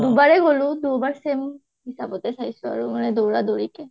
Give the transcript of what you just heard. দুবাৰে গলো, দুবাৰ same হিচাপতে চাই আহিছোঁ আৰু দৌৰা দৌৰিকে